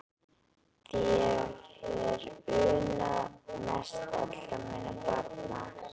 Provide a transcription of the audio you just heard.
Því þér hef ég unnað mest allra minna barna.